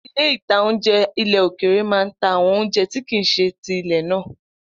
Ilé-ìtánjẹ ilẹ̀ òkèrè máa n ta àwọn oúnjẹ tí kìí ṣe ti ilẹ̀ náà